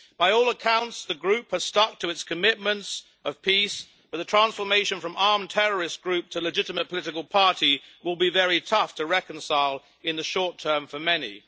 By all accounts, the group has stuck to its commitments of peace, but the transformation from armed terrorist group to legitimate political party will be very tough to reconcile in the short term for many.